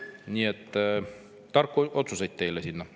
Nii et tarku otsuseid teile sinna!